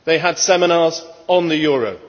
They held seminars on the euro.